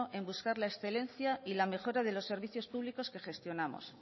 en buscar la excelencia y la mejora de los servicios públicos que gestionamos